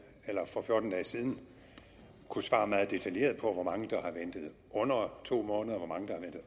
for fjorten dage siden kunne svare meget detaljeret på hvor mange der har ventet under to måneder